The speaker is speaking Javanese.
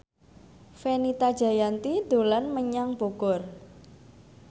Fenita Jayanti dolan menyang Bogor